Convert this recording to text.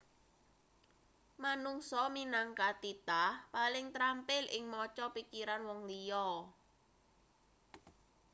manungsa minangka titah paling trampil ing maca pikiran wong liya